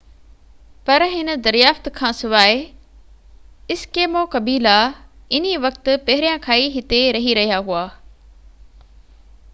پر هن دريافت کانسواءِ ايسڪيمو قبيلا انهي وقت پهريان کان ئي هتي رهي رهيا هئا